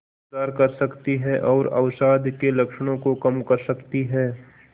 सुधार कर सकती है और अवसाद के लक्षणों को कम कर सकती है